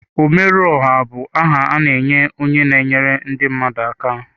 Ọmerụọha bụ aha a na-enye onye na-enyere ndị mmadụ aka.